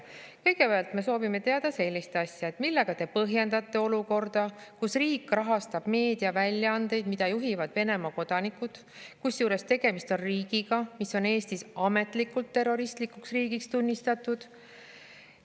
Kõigepealt me soovime teada sellist asja: "Millega te põhjendate olukorda, kus riik rahastab meediaväljaandeid, mida juhivad Venemaa kodanikud, kusjuures tegemist on riigiga, mis on Eestis ametlikult terroristlikuks riigiks tunnistatud?